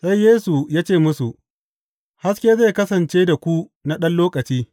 Sai Yesu ya ce musu, Haske zai kasance da ku na ɗan lokaci.